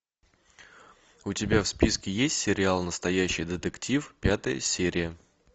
у тебя в списке есть сериал настоящий детектив пятая серия